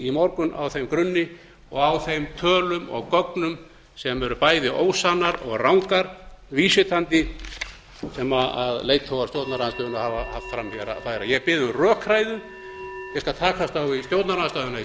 í morgun á þeim grunni og á þeim tölum og gögnum sem eru bæði annar og rangar vísvitandi sem leiðtogar stjórnarandstaðarinnar hafa haft fram að færa ég bið um rökræðu ég skal takast á við